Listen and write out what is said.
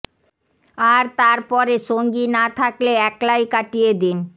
আর তার পরে সঙ্গী না থকেলে একলাই কাটিয়ে দিন